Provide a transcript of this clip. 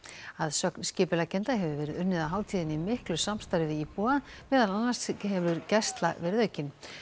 að sögn skipuleggjenda hefur verið unnið að hátíðinni í miklu samstarfi við íbúa meðal annars hefur gæsla verið aukin